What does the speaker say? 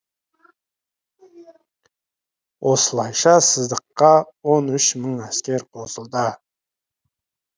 осылайша сыздыққа он үш мың әскер қосылды